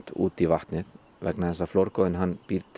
út í vatnið vegna þess að flórgoðinn býr